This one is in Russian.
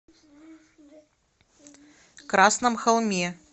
красном холме